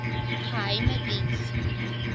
geheimediens